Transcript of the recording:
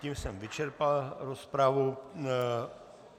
Tím jsem vyčerpal rozpravu.